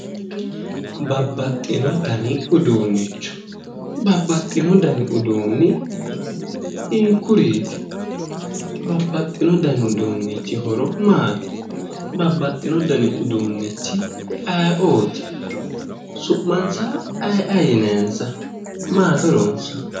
Babbaxxino dani uduunnicho, babbaxxino dani uduunni hiikkuriiti? Babbaxxino dani uduunnichi horo maati? Babbaxxino dani uduunnichi ayeooti? Su'mansa aye aye yinayinsa? Maati horonsa?